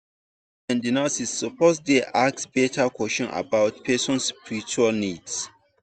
doctors and nurses suppose dey ask better question about person spiritual needs.